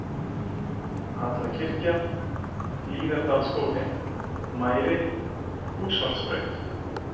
Hjallakirkja, Hlíðardalsskóli, Mæri, Húshólsbraut